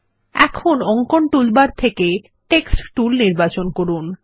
এখন অঙ্কন টুলবার থেকে টেক্সট টুল নির্বাচন করুন